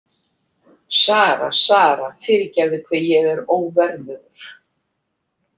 Sara, Sara, fyrirgefðu hve ég er óverðugur.